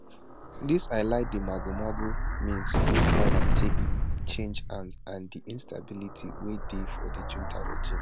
dis highlight di magomago means wey power take change hands and di instability wey dey for di junta regime